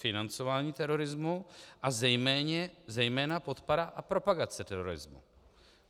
Financování terorismu a zejména podpora a propagace terorismu.